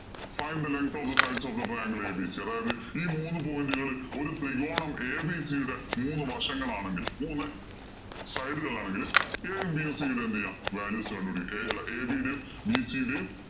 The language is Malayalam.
Find the length of the sides of the triangle abc അതായത് ഈ മൂന്ന് point ഉകള് ഒരു ത്രികോണം abc യുടെ മൂന്ന് വശങ്ങൾ ആണെങ്കിൽ മൂന്ന് side ഉകൾ ആണെങ്കിൽ a യും, b യും c യുടെയും എന്ത് ചെയ്യാം? values കണ്ടുപിടിക്കാം ഏർ അല്ല ab യുടെയും bc യുടെയും